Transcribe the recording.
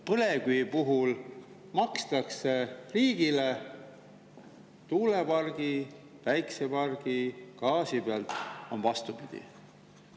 Põlevkivi puhul makstakse riigile, aga tuulepargi, päikesepargi ja gaasi puhul on vastupidi.